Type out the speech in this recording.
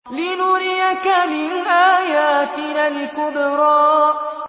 لِنُرِيَكَ مِنْ آيَاتِنَا الْكُبْرَى